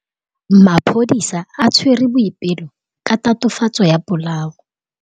Maphodisa a tshwere Boipelo ka tatofatsô ya polaô.